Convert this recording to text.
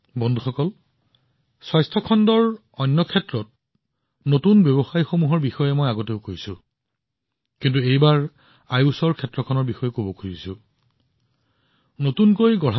বন্ধুসকল মই পূৰ্বে স্বাস্থ্য খণ্ডৰ অন্যান্য ষ্টাৰ্টআপবোৰৰ সৈতে কেইবাবাৰো কথা পাতিছো কিন্তু এইবাৰ মই আপোনালোকৰ সৈতে বিশেষভাৱে আয়ুষ ষ্টাৰ্টআপৰ বিষয়ে কথা পাতিম